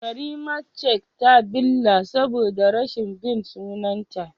karimat cak ta billa saboda rashin bin sunanta